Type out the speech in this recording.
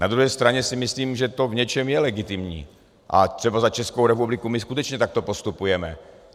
Na druhé straně si myslím, že to v něčem je legitimní, a třeba za Českou republiku my skutečně takto postupujeme.